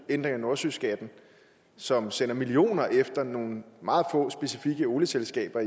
ændring af nordsøskatten som sender millioner efter nogle meget få specifikke olieselskaber